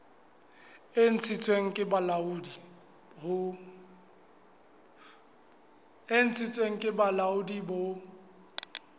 e ntshitsweng ke bolaodi bo